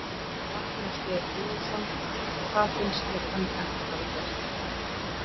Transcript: Magnús Geir Eyjólfsson: Það finnst þér hann ekki hafa gert?